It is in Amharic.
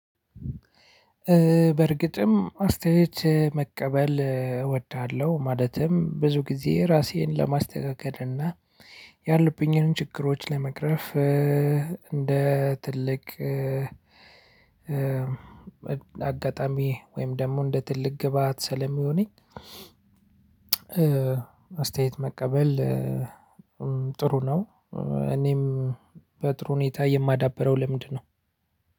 በእርግጥም አስታየት መቀበል እወዳለሁ ማለትም ብዙ ጊዜ ራሴን ለማስተካከል እና ያሉብኝንም ችግሮች ለመቅረፍ እንደ ትልቅ አጋጣሚ ወይም ደግሞ እንደ ትልቅ ግብአት ስለሚሆነኝ አስተየት መቀበል ጥሩ ነው እኔም በጥሩ ሁኔታ የማዳብረው ልምድ ነው።